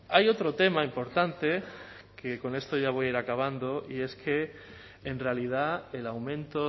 hay otro tema importante que con esto ya voy a ir acabando y es que en realidad el aumento